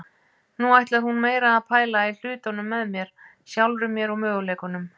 Nú ætlar hún meira að pæla í hlutunum með mér, sjálfri mér og möguleikunum.